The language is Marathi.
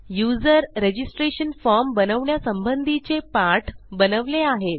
युजर रजिस्ट्रेशन फॉर्म बनवण्यासंबंधीचे पाठ बनवले आहेत